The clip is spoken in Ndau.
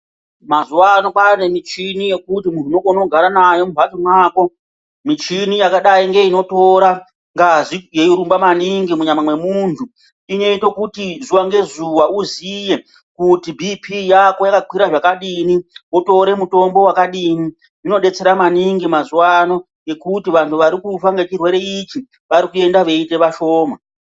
Mazuva ano kwanemichini yekuti unogone kugara nayo mumhatso mwako. Michini yakadai ngeinotora ngazi yeirumba maningi munyama memuntu inoita kuti zuva ngezuva uziye kuti bp yako yakakwira zvakadini votore mutombo vakadini. Zvinobetsera maningi mazuva ano ngekuti vantu varikufa ngechirwere ichi varikuende veiita vashoma.